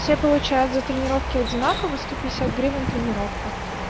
все получают за тренировки одинаково сто пятьдесят гривен тренировка